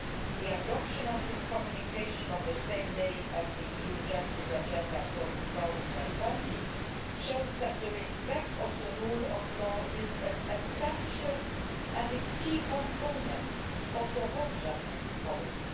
law. The adoption of this communication on the same day as the EU justice agenda for 2020 shows that respect for the rule of law is an essential and key component of the whole justice policy.